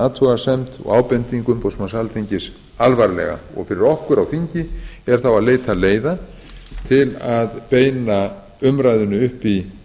athugasemd og ábendingu umboðsmanns alþingis alvarlega fyrir okkur á þingi er þá að leita leiða til að beina umræðunni upp í